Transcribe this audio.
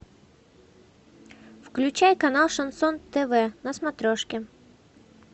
включай канал шансон тв на смотрешке